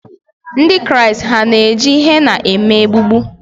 Ndị Kraịst hà na-eji henna eme egbugbu?